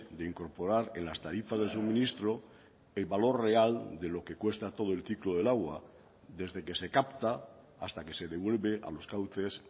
de incorporar en las tarifas de suministro el valor real de lo que cuesta todo el ciclo del agua desde que se capta hasta que se devuelve a los cauces